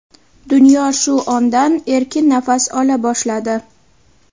Dunyo shu ondan erkin nafas ola boshladi.